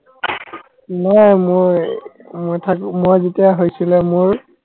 নাই মই মই থাকো মই যেতিয়া হৈছিলে মোৰ